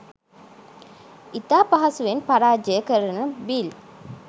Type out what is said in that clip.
ඉතා පහසුවෙන් පරාජය කරන බිල්